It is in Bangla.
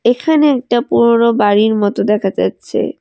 এখানে একটা পুরনো বাড়ির মতো দেখা যাচ্ছে।